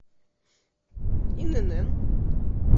инн